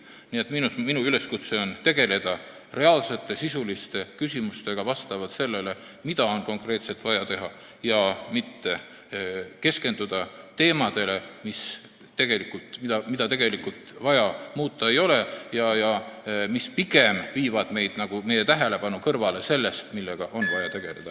Nii et minu üleskutse on tegeleda reaalsete, sisuliste küsimustega, lähtudes sellest, mida on konkreetselt vaja teha, ja mitte keskenduda teemadele, mida tegelikult muuta vaja ei ole ja mis viivad meie tähelepanu pigem kõrvale sellest, millega on vaja tegeleda.